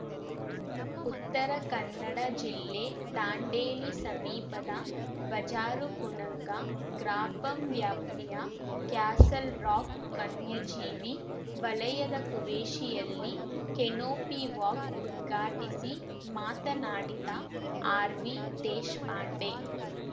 ಉತ್ತರ ಕನ್ನಡ ಜಿಲ್ಲೆ ದಾಂಡೇಲಿ ಸಮೀಪದ ಬಜಾರಕುಣಂಗ ಗ್ರಾಪಂ ವ್ಯಾಪ್ತಿಯ ಕ್ಯಾಸಲ್‌ರಾಕ್‌ ವನ್ಯಜೀವಿ ವಲಯದ ಕುವೇಶಿಯಲ್ಲಿ ಕೆನೋಪಿವಾಕ್‌ ಉದ್ಘಾಟಿಸಿ ಮಾತನಾಡಿದ ಆರ್‌ವಿದೇಶಾಪಾಂಡೆ